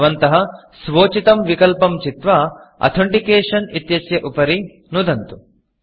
भवन्तः स्वोचितं विकल्पं चित्वा Authenticationअथेण्टिकेषन् इत्यस्य उपरि नुदन्तु